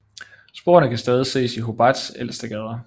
Sporene kan stadig ses i Hobarts ældre gader